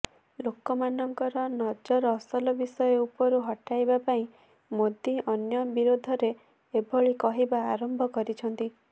ଲୋକମାନଙ୍କ ନଜର ଅସଲ ବିଷୟ ଉପରୁ ହଟାଇବା ପାଇଁ ମୋଦୀ ଅନ୍ୟ ବିରୋଧରେ ଏଭଳି କହିବା ଆରମ୍ଭ କରିଛନ୍ତି